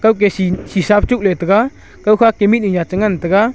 ega shisha tok ley ga kaw kha te ngan ga.